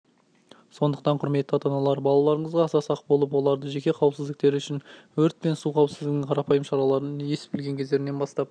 сондықтан құрметті ата-аналар балаларыңызға аса сақ болып олардың жеке қауіпсіздіктері үшін өрт пен су қауіпсіздігінің қарапайым шараларын ес білген кездерінен бастап